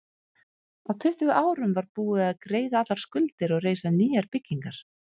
Á tuttugu árum var búið að greiða allar skuldir og reisa nýjar byggingar.